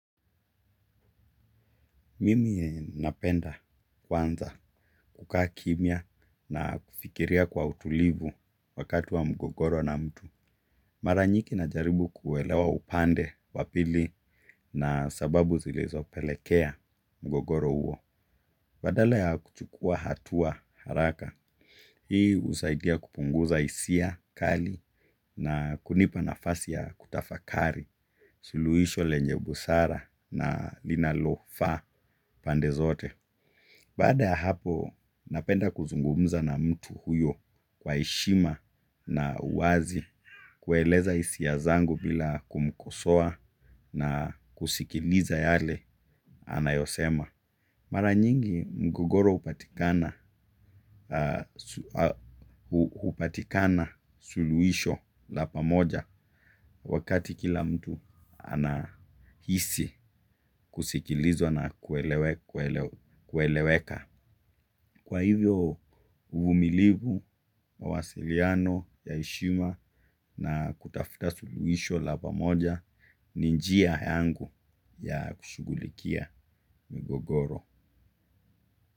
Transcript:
Mimi napenda kwanza kukaa kimya na kufikiria kwa utulivu wakati wa mgogoro na mtu. Mara nyingi najaribu kuelewa upande wa pili na sababu zilezopelekea mgogoro huo. Badala ya kuchukua hatua haraka, hii husaidia kupunguza hisia, kali na kunipa nafasi ya kutafakari. Suluisho lenye busara na linalofaa pande zote. Baada ya hapo napenda kuzungumza na mtu huyo kwa heshima na uwazi kueleza hisia zangu bila kumkosoa na kusikiliza yale anayosema. Mara nyingi mgogoro hupatikana. Hupatikana suluhisho la pamoja wakati kila mtu anahisi kusikilizwa na kueleweka. Kwa hivyo uvumilivu mawasiliano ya heshima na kutafuta suluhisho la pamoja ni njia yangu ya kushughulikia migogoro.